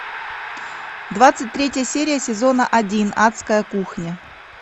двадцать третья серия сезона один адская кухня